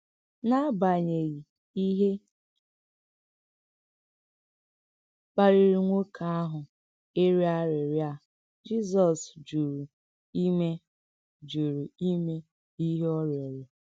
N’agbàghị íhè kpàlìrì nwókè àhụ̀ ìrịọ̀ àrịrịọ̀ à, Jizọs jùrù ímè jùrù ímè íhè ọ rịọrọ̀.